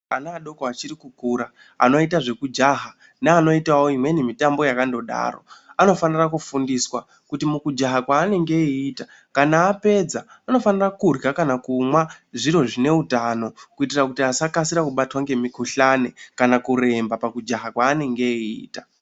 Ana adoko achiri kukura anoita zvekujaha neanoitawo imweni mitambo yakandodaro anofanire kufundiswa kuti mukujaha kwaanenge eiita kana apedza anofanira kumwa kana kurya zviro zvine utano kuitira kuti asakasira kubatwa ngemukhuhlane kana kuremba pakujaha kwaanenge eita.